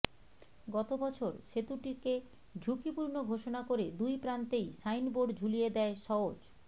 গত বছর সেতুটিকে ঝুঁকিপূর্ণ ঘোষণা করে দুই প্রান্তেই সাইনর্বোড ঝুলিয়ে দেয় সওজ